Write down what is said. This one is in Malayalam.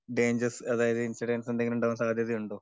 ഡൈഞ്ചേഴ്‌സ് അതായത് ഇൻസിഡൻസ് എന്തേലും ഉണ്ടാവാൻ സാധ്യതയുണ്ടൊ?